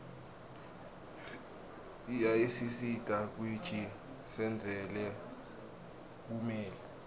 iyaasisita kuiji sindzele bumeli